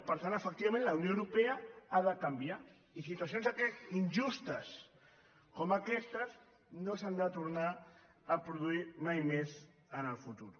per tant efectivament la unió europea ha de canviar i situacions injustes com aquestes no s’han de tornar a produir mai més en el futur